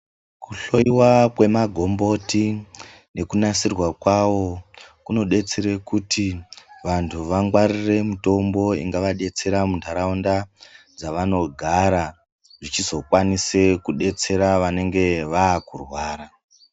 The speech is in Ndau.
Kuhloiwa kwemagomboti nekunasirwa kwawo kunodetsere kuti vantu vangwarire mutombo ingavadetsera munharaunda dzavanogara zvichizokwanise kudetsere anenge akurwara.